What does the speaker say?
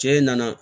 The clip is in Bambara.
Cɛ in nana